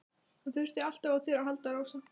Hann þurfti alltaf á þér að halda, Rósa.